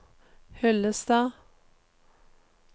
Hyllestad